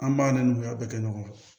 An b'a n'u y'a bɛɛ kɛ ɲɔgɔn fɛ